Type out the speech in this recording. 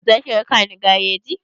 Za ki raka ni gareji?